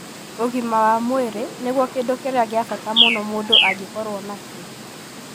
Ũgima wa mwĩrĩ nĩguo kĩndũ kĩrĩa kĩa bata mũno mũndũ angĩkorũo nakĩo.